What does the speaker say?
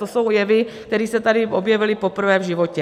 To jsou jevy, které se tady objevily poprvé v životě.